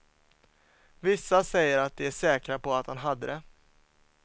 Vissa säger att de är säkra på att han hade det.